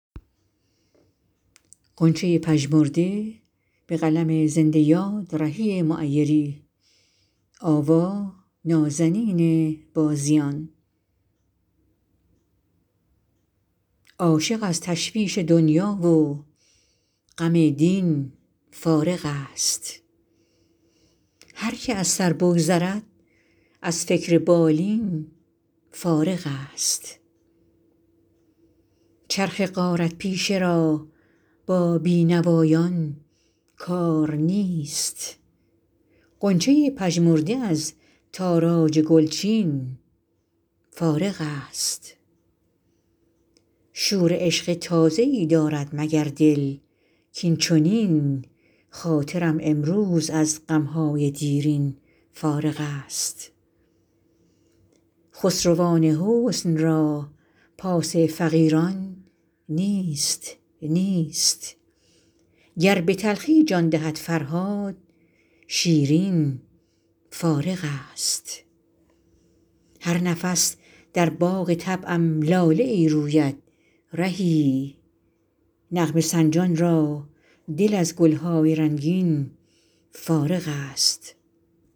عاشق از تشویش دنیا و غم دین فارغ است هرکه از سر بگذرد از فکر بالین فارغ است چرخ غارت پیشه را با بی نوایان کار نیست غنچه پژمرده از تاراج گلچین فارغ است شور عشق تازه ای دارد مگر دل کاین چنین خاطرم امروز از غم های دیرین فارغ است خسروان حسن را پاس فقیران نیست نیست گر به تلخی جان دهد فرهاد شیرین فارغ است هر نفس در باغ طبعم لاله ای روید رهی نغمه سنجان را دل از گل های رنگین فارغ است